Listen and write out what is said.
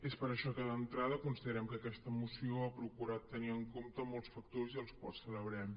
és per això que d’entrada considerem que aquesta moció ha procurat tenir en compte molts factors i els quals celebrem